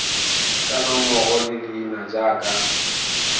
ka nomoro le leina jaaka